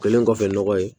Kɛlen kɔfɛ nɔgɔ ye